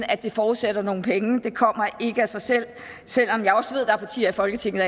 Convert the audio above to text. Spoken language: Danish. at det forudsætter nogle penge det kommer ikke af sig selv selv om jeg også ved at der er partier i folketinget